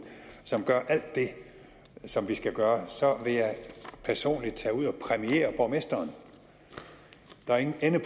som gør alt det som vi skal gøre så vil jeg personligt tage ud og præmiere borgmesteren der er ingen ende